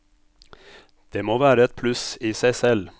Det må være et pluss i seg selv.